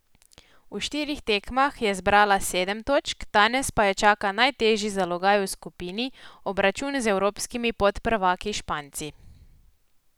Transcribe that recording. V štirih tekmah je zbrala sedem točk, danes pa jo čaka najtežji zalogaj v skupini, obračun z evropskimi podprvaki Španci.